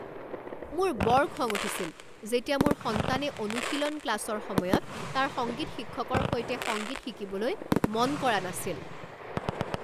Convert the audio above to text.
মোৰ বৰ খং উঠিছিল যেতিয়া মোৰ সন্তানে অনুশীলন ক্লাছৰ সময়ত তাৰ সংগীত শিক্ষকৰ সৈতে সংগীত শিকিবলৈ মন কৰা নাছেল।